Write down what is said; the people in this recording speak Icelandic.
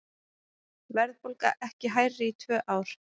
Verðbólga ekki hærri í tvö ár